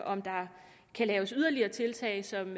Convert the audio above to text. om der kan laves yderligere tiltag som